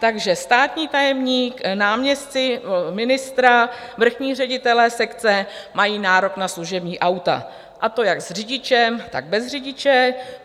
Takže státní tajemník, náměstci ministra, vrchní ředitelé sekce mají nárok na služební auta, a to jak s řidičem, tak bez řidiče.